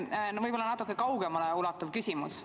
Mul on võib-olla natuke kaugemale ulatuv küsimus.